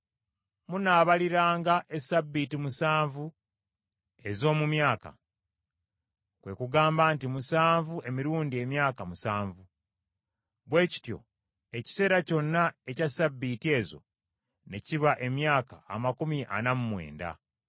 “Munaabaliriranga essabbiiti musanvu ez’omu myaka, kwe kugamba nti musanvu emirundi emyaka musanvu. Bwe kityo ekiseera kyonna ekya ssabbiiti ezo ne kiba emyaka amakumi ana mu mwenda.